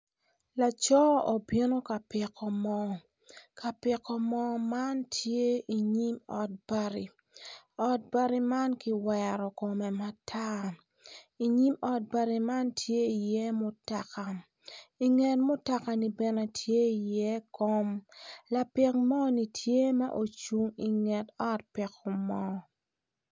Laco obino ka piko moo ka piko moo man tye inyim ot bati ot bati man kiwero kume matar i nyim ot bati man tye iye mutaka inget mutaka ni bene tye iye kom lapik moo-ni tye ma ocung inget ot piko moo